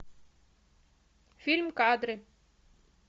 фильм кадры